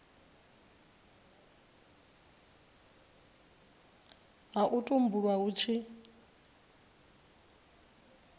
ha u tumbulwa hu tshi